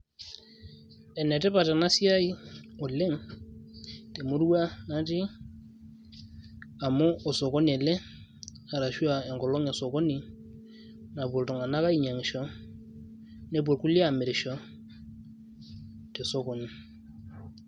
Enetipat enasiai oleng' temurua natii amu osokoni ele, arashua enkolong' esokoni, napuo iltung'anak ainyang'isho, nepuo irkulie amirisho tesokoni.